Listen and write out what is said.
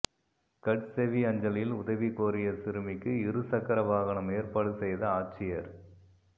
கட்செவி அஞ்சலில் உதவி கோரிய சிறுமிக்கு இருசக்கர வாகனம் ஏற்பாடு செய்த ஆட்சியா்